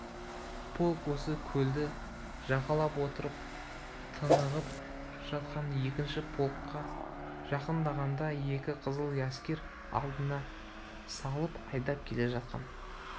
-полк осы келді жағалап отырып тынығып жатқан екінші полкқа жақындағанда екі қызыл әскер алдына салып айдап келе жатқан